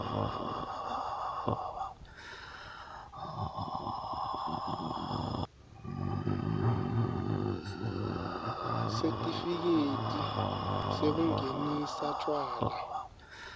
sesitifiketi sekungenisa tjwala